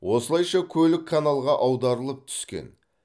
осылайша көлік каналға аударылып түскен